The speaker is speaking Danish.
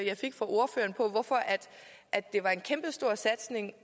jeg fik fra ordføreren på hvorfor det var en kæmpestor satsning